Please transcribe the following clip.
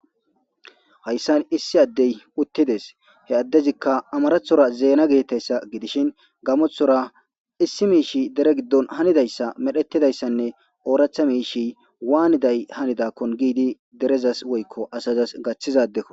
hayssan issi addey uttides he addezikka amarathora zeena geettayssa gidishin gamoththora issi miish dere giddon hanidayssa medhetidayssanne ooractha miishi waaniday hanidakkon giidi derezas woykko asazas gaththizadekko